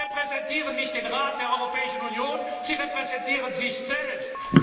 Sie repräsentieren nicht den Rat der Europäischen Union, Sie repräsentieren sich selbst!